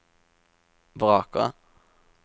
vraker